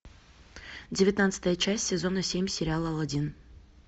девятнадцатая часть сезона семь сериала алладин